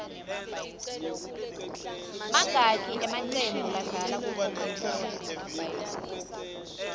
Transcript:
mangaki amaqembu adlala ku cocacola